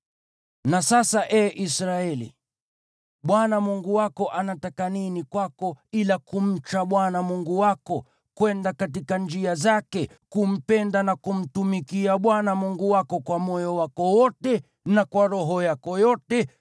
Na sasa, ee Israeli, Bwana Mungu wako anataka nini kwako ila kumcha Bwana Mungu wako, kwenda katika njia zake, kumpenda na kumtumikia Bwana Mungu wako kwa moyo wako wote na kwa roho yako yote,